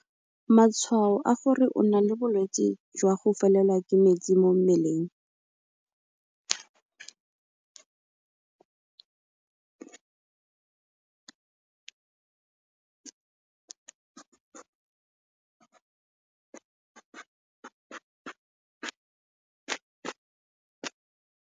Matshwao a gore o na le bolwetse jwa go felelwa ke metsi mo mmeleng